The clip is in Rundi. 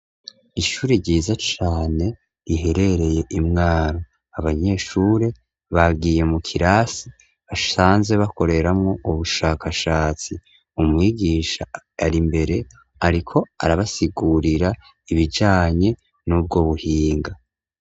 Ishuri ryiza cane riherereye imwaro abanyeshuri bagiye mu kirasi basanze bakoreramwo ubushakashatsi umwigisha ari imbere, ariko arabasigurira ibijanye n'ubwo buhinga.